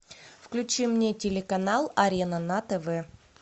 включи мне телеканал арена на тв